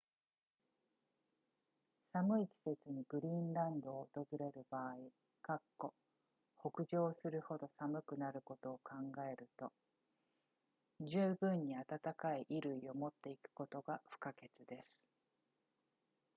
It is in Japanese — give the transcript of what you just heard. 寒い季節にグリーンランドを訪れる場合北上するほど寒くなることを考えると十分に暖かい衣類を持っていくことが不可欠です